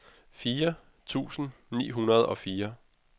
fire tusind ni hundrede og fire